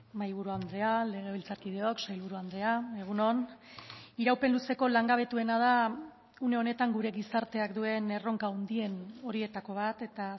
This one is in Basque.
mahaiburu andrea legebiltzarkideok sailburu andrea egun on iraupen luzeko langabetuena da une honetan gure gizarteak duen erronka handien horietako bat eta